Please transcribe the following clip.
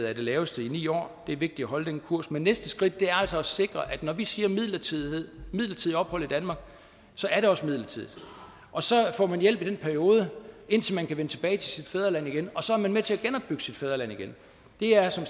er det laveste i ni år det er vigtigt at holde den kurs men næste skridt er altså at sikre at når vi siger midlertidigt midlertidigt ophold i danmark er det også midlertidigt og så får man hjælp i den periode indtil man kan vende tilbage til sit fædreland igen og så er man med til at genopbygge sit fædreland det er som